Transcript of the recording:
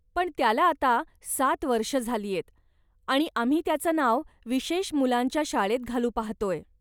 पण त्याला आता सात वर्षं झालीयत आणि आम्ही त्याचं नाव विशेष मुलांच्या शाळेत घालू पाहतोय.